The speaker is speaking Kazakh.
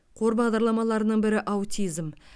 қор бағдарламаларының бірі аутизм